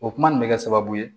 O kuma nin bɛ kɛ sababu ye